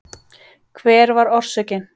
Hver var orsökin?